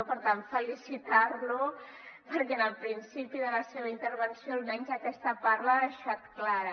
per tant felicitar lo perquè en el principi de la seva intervenció almenys aquesta part l’ha deixat clara